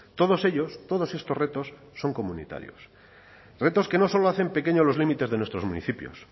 todos ellos todos estos retos son comunitarios retos que no solo hacen pequeño los límites de nuestros municipios